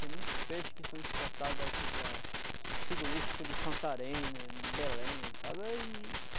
Tem muitos peixes que são exportados aqui para para o frigorifico de Santarém, de de Belém, sabe? Aí